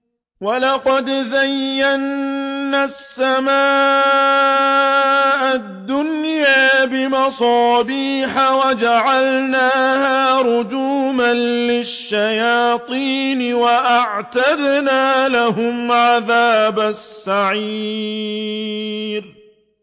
وَلَقَدْ زَيَّنَّا السَّمَاءَ الدُّنْيَا بِمَصَابِيحَ وَجَعَلْنَاهَا رُجُومًا لِّلشَّيَاطِينِ ۖ وَأَعْتَدْنَا لَهُمْ عَذَابَ السَّعِيرِ